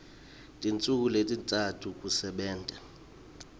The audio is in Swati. tinsuku letintsatfu kusebenta